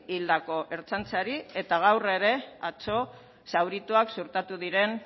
hildako ertzaintzari eta gaur ere atzo zaurituak suertatu diren